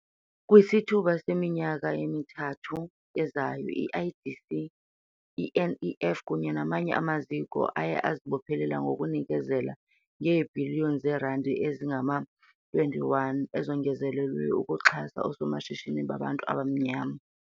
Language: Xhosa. Kwisithuba seminyaka emithathu ezayo i-IDC, i-NEF kunye namanye amaziko aye azibophelela ngokunikezela ngeebhiliyoni zeerandi ezingama-21 ezongezelelweyo ukuxhasa oosomashishini babantu abamnyama.